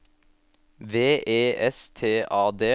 V E S T A D